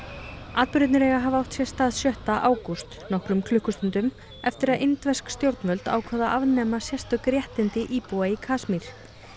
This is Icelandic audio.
atburðirnir eiga að hafa átt sér stað sjötta ágúst nokkrum klukkustundum eftir að indversk stjórnvöld ákváðu að afnema sérstök réttindi íbúa í Kasmír